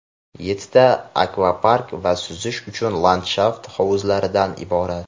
yettita akvapark va suzish uchun landshaft hovuzlaridan iborat.